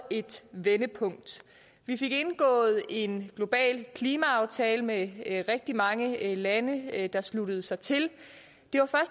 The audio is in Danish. et vendepunkt vi fik indgået en global klimaaftale med rigtig mange lande der sluttede sig til